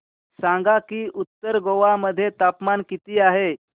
सांगा की उत्तर गोवा मध्ये तापमान किती आहे